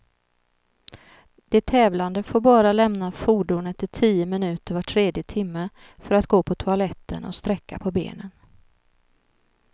De tävlande får bara lämna fordonet i tio minuter var tredje timme, för att gå på toaletten och sträcka på benen.